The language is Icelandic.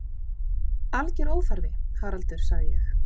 Alger óþarfi, Haraldur sagði ég.